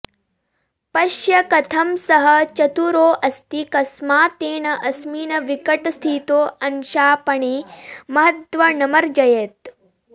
पश्य कथं सः चतुरोऽस्ति कस्मात् तेन अस्मिन् विकटस्थितौ अंशापणे महद्धनमर्जयत्